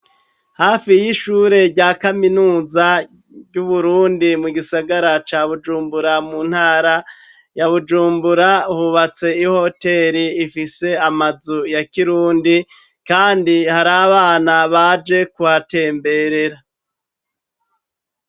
Hafi y'ishure rya kaminuza y'Uburundi mu gisagara ca Bujumbura mu ntara ya Bujumbura hubatse ihoteri ifise amazu ya kirundi kandi hari abana baje kuhatemberera.